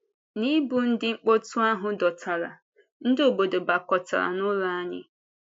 N’ịbụ ndị mkpọtụ ahụ dọtara, ndị obodo gbakọtara n’ụlọ anyị.